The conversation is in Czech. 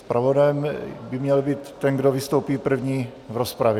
Zpravodajem by měl být ten, kdo vystoupí první v rozpravě.